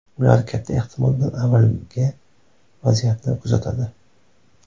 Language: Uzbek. Ular katta ehtimol bilan avvaliga vaziyatni kuzatadi.